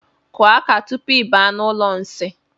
Kụọ aka tupu I baa n'ụlọ nsi.